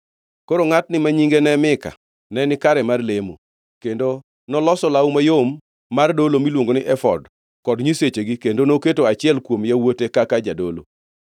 Koro ngʼatni ma nyinge ne Mika neni gikare mar lemo, kendo noloso law mayom mar dolo miluongo ni efod kod nyisechegi kendo noketo achiel kuom yawuote kaka jadolo.